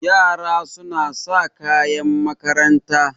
Yara suna sa kayan makaranta.